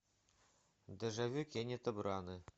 дежавю кеннета брана